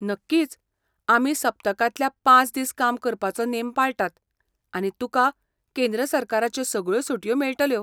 नक्कीच, आमी सप्तकांतल्या पांच दीस काम करपाचो नेम पाळटात आनी तुकां केंद्र सरकाराच्यो सगळ्यो सुटयो मेळटल्यो.